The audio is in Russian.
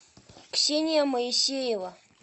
ксения моисеева